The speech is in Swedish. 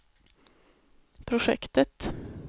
projektet